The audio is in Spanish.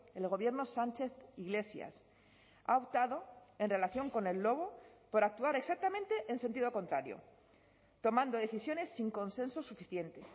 el gobierno sánchez iglesias ha optado en relación con el lobo por actuar exactamente en sentido contrario tomando decisiones sin consenso suficiente